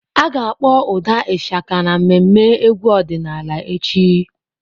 A ga-akpọ ụda Ishaka n'ememme egwu ọdịnala echi.